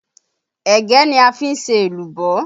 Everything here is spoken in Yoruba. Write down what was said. Ẹ̀gẹ́ ni a fi ń ṣe èlùbọ́